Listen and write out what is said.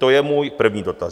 To je můj první dotaz.